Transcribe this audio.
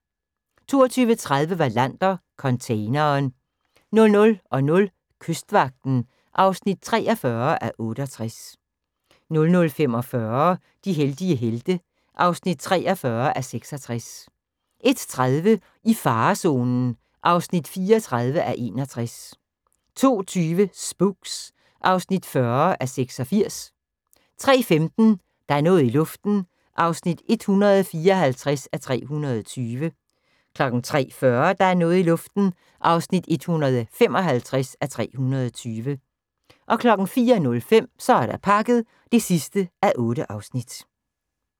22:30: Wallander: Containeren 00:00: Kystvagten (43:68) 00:45: De heldige helte (43:66) 01:30: I farezonen (34:61) 02:20: Spooks (40:86) 03:15: Der er noget i luften (154:320) 03:40: Der er noget i luften (155:320) 04:05: Så er der pakket (8:8)